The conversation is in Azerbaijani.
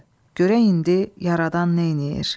Görək indi yaradan neyləyir?